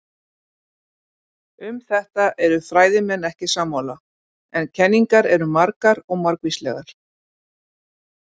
Um þetta eru fræðimenn ekki sammála, en kenningar eru margar og margvíslegar.